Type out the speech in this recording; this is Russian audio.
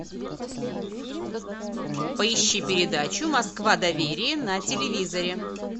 поищи передачу москва доверие на телевизоре